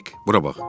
Hek, bura bax.